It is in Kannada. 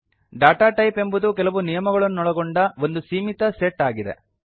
ಡಾಟಾ ಟೈಪ್ ಎಂಬುದು ಕೆಲವು ನಿಯಮಗಳನ್ನೊಳಗೊಂಡ ಒಂದು ಸೀಮಿತ ಸೆಟ್ ಆಗಿದೆ